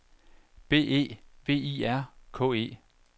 B E V I R K E